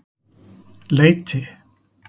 Leiti